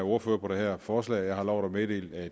ordfører på det her forslag og jeg har lovet at